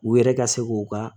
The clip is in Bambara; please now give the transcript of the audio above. U yɛrɛ ka se k'u ka